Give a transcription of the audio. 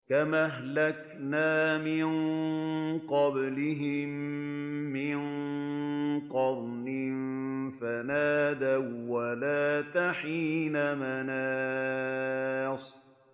كَمْ أَهْلَكْنَا مِن قَبْلِهِم مِّن قَرْنٍ فَنَادَوا وَّلَاتَ حِينَ مَنَاصٍ